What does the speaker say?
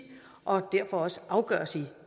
og derfor også afgøres i et